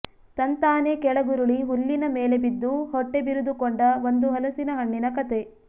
ತಂತಾನೇ ಕೆಳಗುರುಳಿ ಹುಲ್ಲಿನ ಮೇಲೆ ಬಿದ್ದು ಹೊಟ್ಟೆಬಿರಿದುಕೊಂಡ ಒಂದು ಹಲಸಿನ ಹಣ್ಣಿನ ಕತೆ